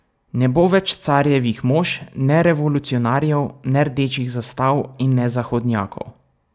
Ne bo več carjevih mož, ne revolucionarjev, ne rdečih zastav in ne zahodnjakov.